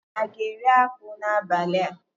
Anyi aga eri akpu n'abali a?